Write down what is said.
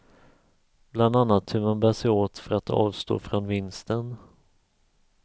Bland annat hur man bär sig åt för att avstå från vinsten.